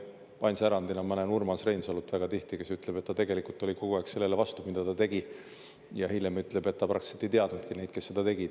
Ainsa erandina ma näen Urmas Reinsalut väga tihti, kes ütleb, et ta tegelikult oli kogu aeg sellele vastu, mida ta tegi, ja hiljem ütleb, et ta praktiliselt ei teadnudki neid, kes seda tegid.